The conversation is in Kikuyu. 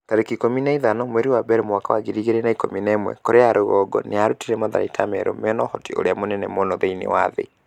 tarĩki ikũmi na ithano mweri wa mbere mwaka wa ngiri igĩrĩ na ikũmi na ĩmwe Korea ya rũgongo nĩ ĩrutĩte matharaita merũ mena ũhoti ũrĩa mũnene mũno thĩinĩ wa thĩ.'